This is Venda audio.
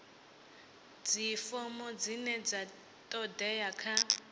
dzifomo dzine dza todea kha